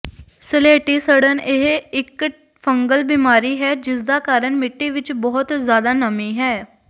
ਸਲੇਟੀ ਸੜਨ ਇਹ ਇੱਕ ਫੰਗਲ ਬਿਮਾਰੀ ਹੈ ਜਿਸਦਾ ਕਾਰਨ ਮਿੱਟੀ ਵਿੱਚ ਬਹੁਤ ਜ਼ਿਆਦਾ ਨਮੀ ਹੈ